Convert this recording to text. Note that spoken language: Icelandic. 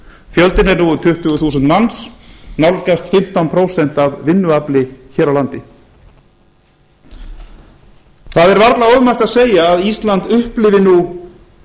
fjöldinn er nú um tuttugu þúsund manns nálgast fimmtán prósent af vinnuafli hér á landi það er varla ofmælt að segja að ísland upplifi nú